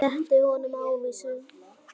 Rétti honum ávísun.